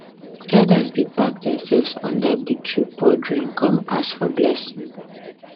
elders dey pack dia selves under big tree pour drink con ask for blessing